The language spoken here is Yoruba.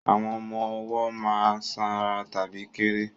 Àwọn ọmọ ọwọ́ má ń sanra tàbí kéré